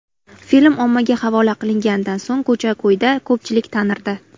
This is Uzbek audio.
Film ommaga havola qilinganidan so‘ng ko‘cha-ko‘yda ko‘pchilik tanirdi.